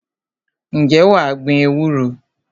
Ǹjẹ́ wà á gbin ewúro?